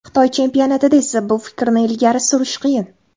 Xitoy chempionatida esa bu fikrni ilgari surish qiyin.